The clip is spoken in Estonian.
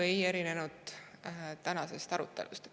See ei erinenud väga palju tänasest arutelust.